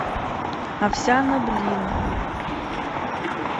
овсяноблин